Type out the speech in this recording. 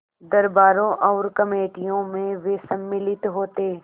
दरबारों और कमेटियों में वे सम्मिलित होते